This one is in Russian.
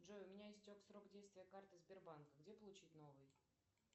джой у меня истек срок действия карты сбербанка где получить новый